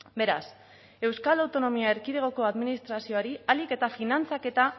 beraz euskal autonomia erkidegoko administrazioari ahalik eta finantzaketa